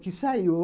Que saiu.